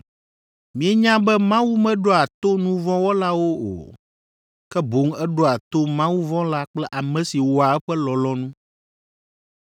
Mienya be Mawu meɖoa to nu vɔ̃ wɔlawo o, ke boŋ eɖoa to mawuvɔ̃la kple ame si wɔa eƒe lɔlɔ̃nu.